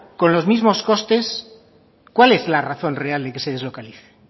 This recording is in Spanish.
con los mismos costes cuál es la razón real de que se deslocalice